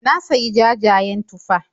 Na sayi jajayen tufah.